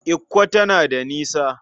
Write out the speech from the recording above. Ikko tana da nisa.